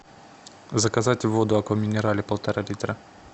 заказать воду аква минерале полтора литра